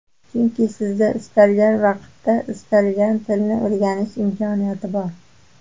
Chunki sizda istalgan vaqtda istalgan tilni o‘rganish imkoniyati bor.